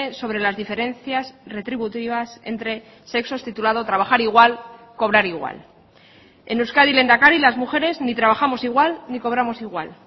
sobre las diferencias retributivas entre sexos titulado trabajar igual cobrar igual en euskadi lehendakari las mujeres ni trabajamos igual ni cobramos igual